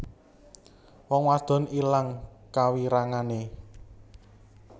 Wong wadon ilang kawirangane